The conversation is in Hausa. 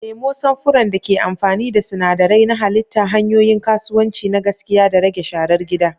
Nemo samfuran da ke amfani da sinadarai na halitta, hanyoyin kasuwanci na gaskiya, da rage sharar gida.